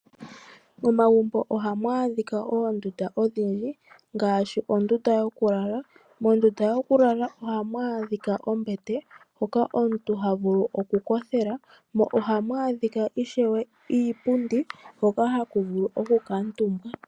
Mo magumbo ohamu adhika oondunda ondhindji, ngaashi ondunda yokulala. Ondunda yokulala ohamu adhika ombete hoka omuntu ha vulu oku kothela, mo ohamu adhika ishewe iipundi, hoka haku vulu oku kuutumbwa.